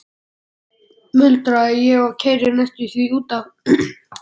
muldra ég og keyri næstum því út af.